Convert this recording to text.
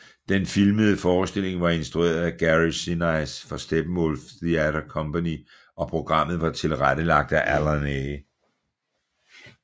Den filmede forestilling var instrueret af Gary Sinise for Steppenwolf Theatre Company og programmet var tilrettelagt af Allan A